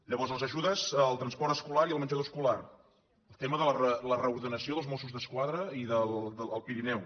llavors les ajudes al transport escolar i al menjador escolar tema de la reordenació dels mossos d’esquadra al pirineu